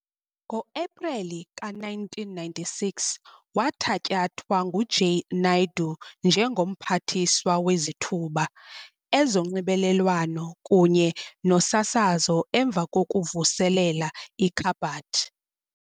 Ngo-Epreli ka-1996, wathatyathwa nguJay Naidoo njengo-Mphathiswa Wezithuba, Ezonxibelelwano kunye Nosasazo emva kokuvuselela ikhabhathi.